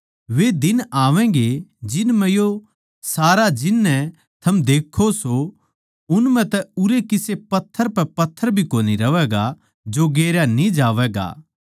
वे दिन आवैगें जिन म्ह यो सारा जिन नै थम देक्खो सो उन म्ह तै उरै किसे पत्थर पै पत्थर भी कोनी रहवैगा जो गेरया न्ही जावैगा